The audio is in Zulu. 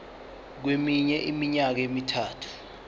kweminye iminyaka emithathu